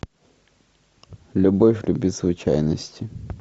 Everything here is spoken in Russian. любовь любит случайности